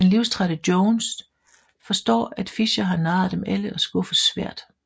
Den livstrætte Jones forstår at Fischer har narret dem alle og skuffes svært